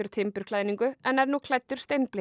timburklæðningu en er nú klæddur